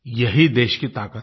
यही देश की ताक़त है